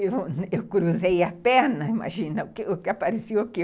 Eu cruzei a perna, imagina, apareceu o quê?